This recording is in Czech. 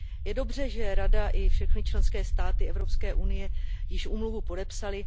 Je dobře, že Rada i všechny členské státy Evropské unie již úmluvu podepsaly.